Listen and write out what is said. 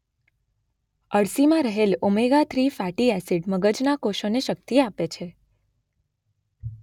અળસીમાં રહેલ omega three fatty acid મગજના કોષોને શક્તિ આપે છે.